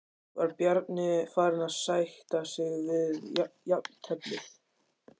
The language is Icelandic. Var Bjarni farinn að sætta sig við jafnteflið?